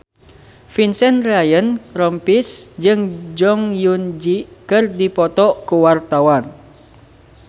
Vincent Ryan Rompies jeung Jong Eun Ji keur dipoto ku wartawan